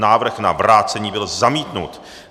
Návrh na vrácení byl zamítnut.